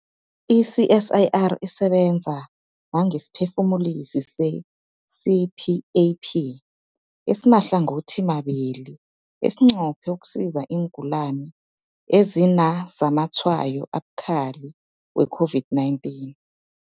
I-CSIR isebenza nangesiphefumulisi se-CPAP esimahlangothimabili esinqophe ukusiza iingulani ezinazamatshwayo abukhali we-COVID-19.